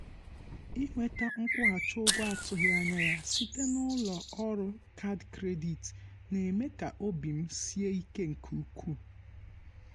inweta nkwụghachi um ụgwọ a tụghị anya ya site n’ụlọ ọrụ kaadị kredit na-eme ka obi m um sie ike nke ukwuu.